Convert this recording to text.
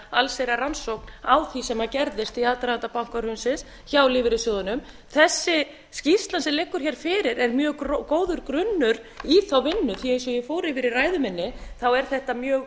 allsherjar rannsókn á því sem gerðist í aðdraganda bankahrunsins hjá lífeyrissjóðunum þessi skýrsla sem liggur hér fyrir er mjög góður grunnur í þá vinnu því eins og ég fór yfir í ræðu minni er þetta mjög